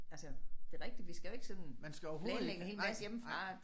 Altså det rigtigt vi skal jo ikke sådan planlægge en hel masse hjemmefra